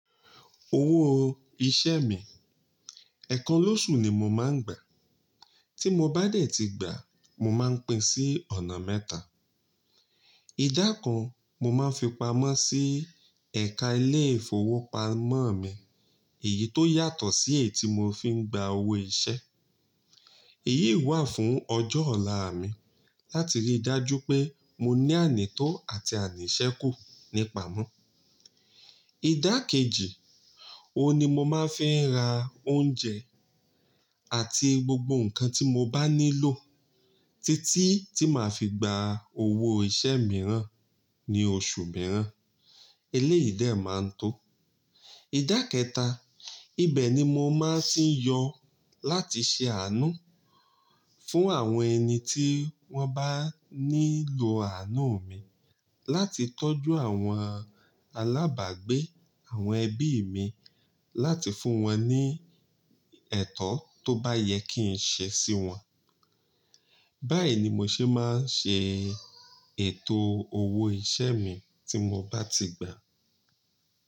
Owó iṣẹ́ mi, ẹ̀kan lóṣù ni mo máa ń gbà a. Tí mo bá dẹ̀ ti gbà a, mo máa ń pín sí ọ̀nà mẹ́ta. Ìdá kan mo máa ń fi pamọ́ sí ẹ̀ka ilé-ìfowópamọ́ mi èyí tó yàtọ̀ sí èyí tí mo fi ń gba owó iṣẹ́. Èyí i wà fún ọjọ́ ọ̀la mi láti rí i dájú pé mo ní ànító àti àníṣẹ́kù nípamọ́. Ìdá kejì, òun ni mo máa ń fi n ra oúnjẹ àti gbogbo nǹkan tí mo bá nílò títí tí màá fi gba owó iṣẹ́ mìíràn ní oṣù mìíràn. Eléyìí dẹ̀ máa ń tó. Ìdá kẹta, ibẹ̀ ni mo máa ń tì n yọ láti ṣe àánú fún àwọn ẹni tí wọ́n bá nílò àánú mi, láti tọ́jú àwọn alábàgbé, àwọn ẹbí mi, láti fún wọn ní ẹ̀to tó bá yẹ kí n ṣe sí wọn. Báyìí ni mo ṣe máa ń ṣe ètò owó iṣẹ́ mi tí mo bá ti gbà a.